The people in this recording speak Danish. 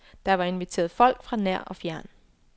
Der var inviteret folk fra nær og fjern.